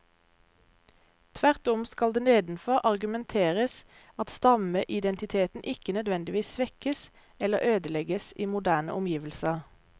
Tvert om skal det nedenfor argumenteres at stammeidentiteten ikke nødvendigvis svekkes eller ødelegges i moderne omgivelser.